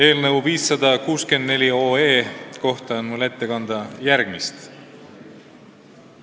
Eelnõu 564 kohta on mul ette kanda järgmist.